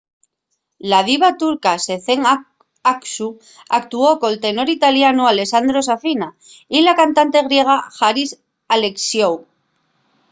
la diva turca sezen aksu actuó col tenor italianu alessandro safina y la cantante griega haris alexiou